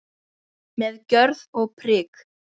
Með gjörð og prik.